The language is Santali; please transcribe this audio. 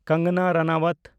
ᱠᱟᱝᱜᱟᱱᱟ ᱨᱟᱱᱟᱣᱟᱛ